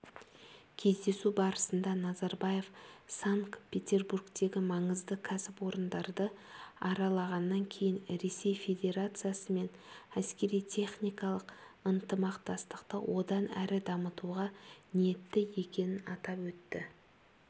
кездесу барысында назарбаев санкт-петербургтегі маңызды кәсіпорындарды аралағаннан кейін ресей федерациясымен әскери-техникалық ынтымақтастықты одан әрі дамытуға ниетті екенін атап өтті